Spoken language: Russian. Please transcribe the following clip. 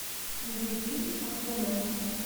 найди фильм аквамен